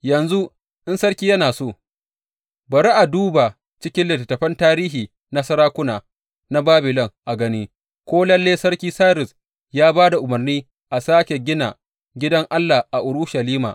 Yanzu in sarki yana so, bari a duba cikin littattafan tarihi na sarakuna na Babilon a gani ko lalle sarki Sairus ya ba da umarni a sāke gina gidan Allah a Urushalima.